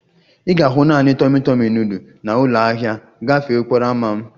Ị ga-ahụ naanị tọmi tọmi nudul na ụlọ ahịa gafee okporo ámá m